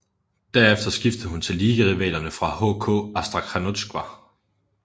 Derefter skiftede hun til ligarivalerne fra HK Astrakhanotjka